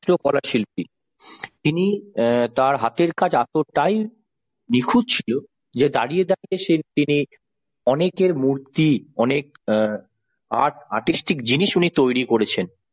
চিত্রকলা শিল্পী তিনি অ্যাঁ তার হাতের কাজ এতটাই নিখুত ছিল যে দাঁড়িয়ে দাঁড়িয়ে সে তিনি অনেকের মূর্তি অনেক এ artartistic জিনিস উনি তৈরি করেছেন